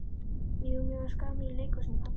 Jú mér fannst gaman í leikhúsinu pabbi.